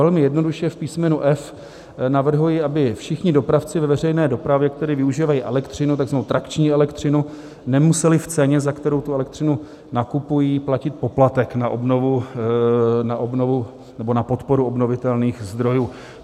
Velmi jednoduše - v písmenu F navrhuji, aby všichni dopravci ve veřejné dopravě, kteří využívají elektřinu, takzvanou trakční elektřinu, nemuseli v ceně, za kterou tu elektřinu nakupují, platit poplatek na obnovu nebo na podporu obnovitelných zdrojů.